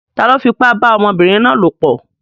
Ta ló fipá bá ọmọbìnrin náà lopọ̀?